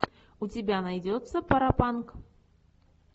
у тебя найдется паропанк